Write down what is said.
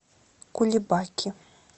кулебаки